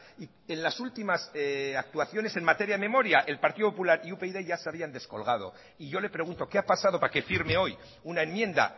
y en las últimas actuaciones en materia memoria el partido popular y upyd ya se habían descolgado y yo le pregunto qué ha pasado para que firme hoy una enmienda